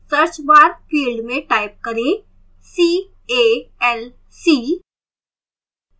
search bar field में type करें c a l c